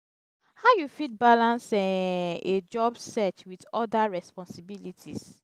how you fit balance um a job search with oda responsibilites?